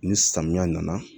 Ni samiya nana